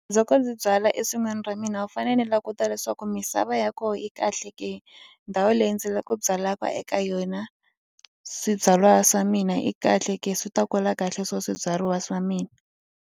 ndzi byala esin'wini ra mina u fanele ni languta leswaku misava ya kona yi kahle ke. Ndhawu leyi ndzi la ku byalaka eka yona swibyariwa swa mina yi kahle ke swi ta kula kahle swo swibyariwa swa mina.